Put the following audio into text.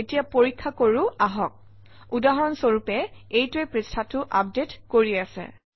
এতিয়া পৰীক্ষা কৰোঁ আহক উদাহৰণ স্বৰূপে এইটোৱে পৃষ্ঠাটো আপডেট কৰি আছে